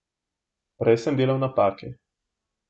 Prej sem delal napake.